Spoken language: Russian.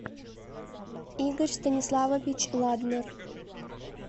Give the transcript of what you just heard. игорь станиславович ладнер